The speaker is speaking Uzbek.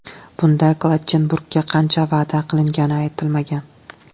Bunda Klattenburgga qancha va’da qilingani aytilmagan.